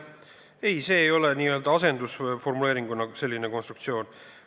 Ei, see ei ole n-ö asendusformuleeringu konstruktsioon.